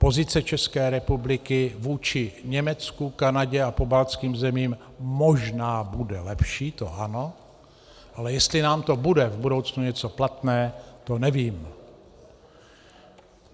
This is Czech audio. Pozice České republiky vůči Německu, Kanadě a pobaltským zemím možná bude lepší, to ano, ale jestli nám to bude v budoucnu něco platné, to nevím.